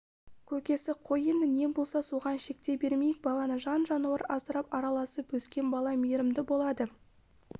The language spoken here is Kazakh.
көкесі қой енді не болса соған шектей бермейік баланы жан-жануар асырап араласып өскен бала мейірімді болады